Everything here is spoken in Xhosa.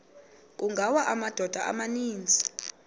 kungawa amadoda amaninzi